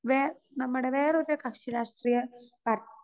speaker 2 way നമ്മടെ വേറൊരു കക്ഷിരാഷ്ട്രീയ പാർ